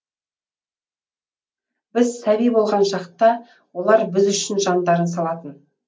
біз сәби болған шақта олар біз үшін жандарын салатын